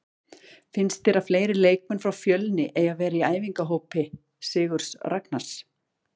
Finnst þér að fleiri leikmenn frá Fjölni eigi að vera í æfingahópi Sigurðs Ragnars?